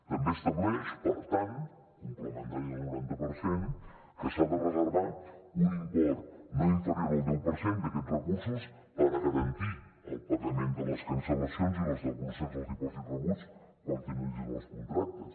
també estableix per tant complementari al noranta per cent que s’ha de reservar un import no inferior al deu per cent d’aquests recursos per garantir el pagament de les cancel·lacions i les devolucions dels dipòsits rebuts quan finalitzin els contractes